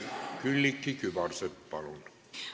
Külliki Kübarsepp, palun!